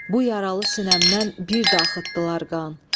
Bu yaralı sinəmdən bir də axıtdılar qan.